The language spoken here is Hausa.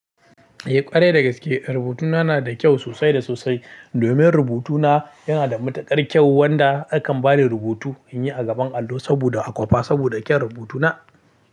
Eh ƙwarai da gaske rubutuna na da kyau sosai da sosai. Domin rubutuna yana da matuƙar kyau wanda akan bani rubutu in yi a gaban allo saboda a kwafa saboda kyan rubutuna.